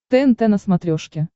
тнт на смотрешке